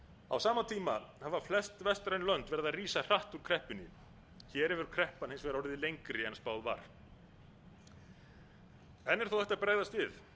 á sama tíma hafa flest vestræn lönd verið að rísa hratt úr kreppunni hér hefur kreppan hins vegar orðið lengri en spáð var enn er þó hægt að bregðast við